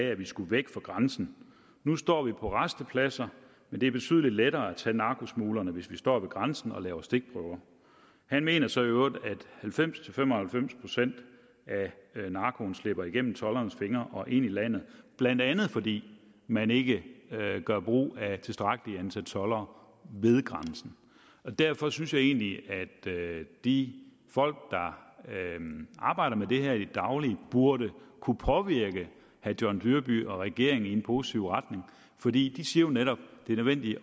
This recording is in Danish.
at vi skulle væk fra grænsen nu står vi på rastepladser men det er betydeligt lettere at tage narkosmuglerne hvis vi står ved grænsen og laver stikprøver han mener så i øvrigt at halvfems til fem og halvfems procent af narkoen slipper igennem toldernes fingre og ind i landet blandt andet fordi man ikke gør brug af et tilstrækkeligt antal toldere derfor synes jeg egentlig at de folk der arbejder med det her i det daglige burde kunne påvirke herre john dyrby paulsen og regeringen i en positiv retning for de siger jo netop at det er nødvendigt